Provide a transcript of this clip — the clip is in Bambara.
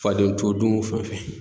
Faden to dun fan fɛ.